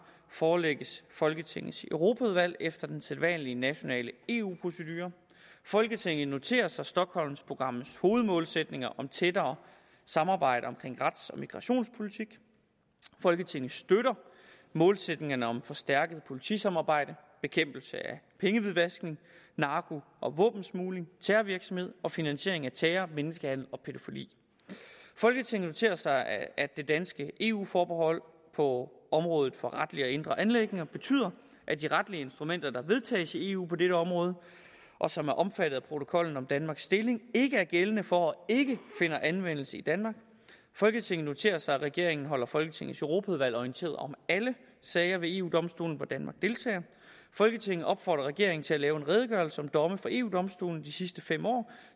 forelægges folketingets europaudvalg efter den sædvanlige nationale eu procedure folketinget noterer sig stockholmprogrammets hovedmålsætninger om tættere samarbejde omkring rets og migrationspolitik folketinget støtter målsætningerne om forstærket politisamarbejde bekæmpelse af pengehvidvaskning narko og våbensmugling terrorvirksomhed og finansiering af terror menneskehandel og pædofili folketinget noterer sig at det danske eu forbehold på området for retlige og indre anliggender betyder at de retlige instrumenter der vedtages i eu på dette område og som er omfattet af protokollen om danmarks stilling ikke er gældende for og ikke finder anvendelse i danmark folketinget noterer sig at regeringen holder folketingets europaudvalg orienteret om alle sager ved eu domstolen hvor danmark deltager folketinget opfordrer regeringen til at lave en redegørelse om domme fra eu domstolen de sidste fem år